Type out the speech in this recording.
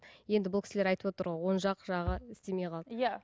енді бұл кісілер айтып отыр ғой оң жақ жағы істемей қалды иә